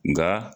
Nka